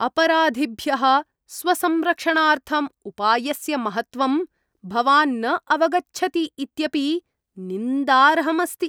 अपराधिभ्यः स्वसंरक्षणार्थम् उपायस्य महत्त्वं भवान् न अवगच्छति इत्यपि निन्दार्हम् अस्ति।